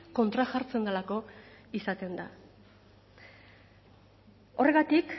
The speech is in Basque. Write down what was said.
kontrajartzen delako izaten da horregatik